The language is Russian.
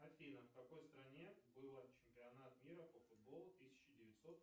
афина в какой стране было чемпионат мира по футболу тысяча девятьсот